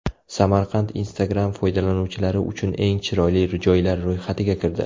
Samarqand Instagram foydalanuvchilari uchun eng chiroyli joylar ro‘yxatiga kirdi.